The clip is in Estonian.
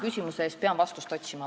Teate, ma pean vastust otsima.